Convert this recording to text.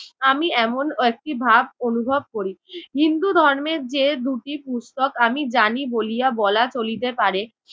আমি এমন একটি ভাব অনুভব করি। হিন্দু ধর্মের যে দুটি পুস্তক আমি জানি বলিয়া বলা চলিতে পারে